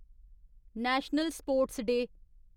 national sports day